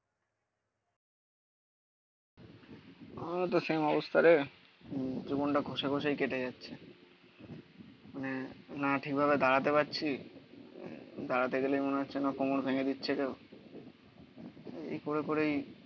আমারও তো সেম অবস্থা রে. জীবনটা ঘষে ঘষেই কেটে যাচ্ছে মানে না ঠিক ভাবে দাঁড়াতে পারছি. দাঁড়াতে গেলেই মনে হচ্ছে না কোমর ভেঙে দিচ্ছে কেউ এই করে করেই